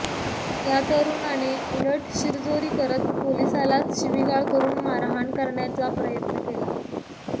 या तरुणाने उलट शिरजोरी करत पोलिसालाच शिवीगाळ करून मारहाण करण्याचा प्रयत्न केला